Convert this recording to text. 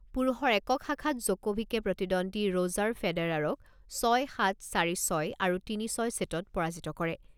পুৰুষৰ একক শাখাত জকোভিকে প্ৰতিদ্বন্দ্বী ৰ'জাৰ ফেডাৰাৰক ছয় সাত, চাৰি ছয় আৰু তিনি ছয় ছেটত পৰাজিত কৰে।